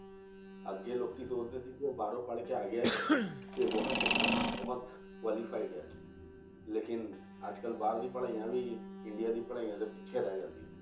ਅੱਗੇ ਲੋਕੀ ਸੋਚਦੇ ਸੀ ਕਿ ਉਹ ਬਾਹਰੋਂ ਪੜ੍ਹਕੇ ਆ ਗਿਆ ਹੈ, ਤੇ ਬਹੁਤ ਚੰਗਾ ਮਨੇ ਬਹੁਤ qualified ਆ, ਲੇਕਿੰਨ ਅੱਜ ਕੱਲ੍ਹ ਬਾਹਰਲੀ ਪੜ੍ਹਾਈਆਂ ਵੀ ਇੰਡੀਆ ਦੀ ਪੜ੍ਹਾਈਆਂ ਦੇ ਪਿੱਛੇ ਰਹਿ ਜਾਂਦੀ ਹੈ